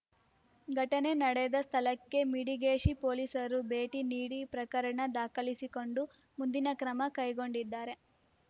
ಘಟನೆ ನಡೆದ ಸ್ಥಳಕ್ಕೆ ಮಿಡಿಗೇಶಿ ಪೋಲಿಸರು ಭೇಟಿ ನೀಡಿ ಪ್ರಕರಣ ದಾಖಲಿಸಿಕೊಂಡು ಮುಂದಿನ ಕ್ರಮ ಕೈಗೊಂಡಿದ್ದಾರೆ